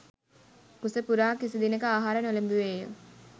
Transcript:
කුසපුරා කිසිදිනක ආහාර නොලැබුවේ ය